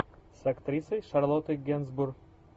с актрисой шарлоттой генсбур